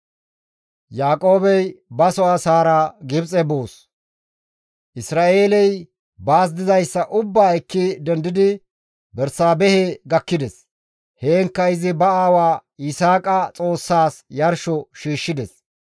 Isra7eeley baas dizayssa ubbaa ekki dendidi Bersaabehe gakkides. Heenkka izi ba aawa Yisaaqa Xoossaas yarsho shiishshides.